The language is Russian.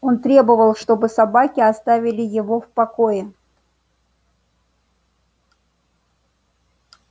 он требовал чтобы собаки оставили его в покое